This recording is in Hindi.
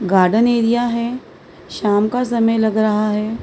गार्डन एरिया है शाम का समय लग रहा है।